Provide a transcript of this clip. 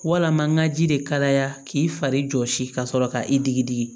Walama n ka ji de kalaya k'i fari jɔsi ka sɔrɔ ka i digi digi